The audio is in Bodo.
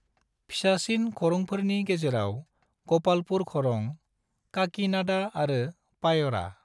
फिसासिन खरंफोरनि गेजेराव ग'पालपुर खरं, काकीनाडा आरो पायरा।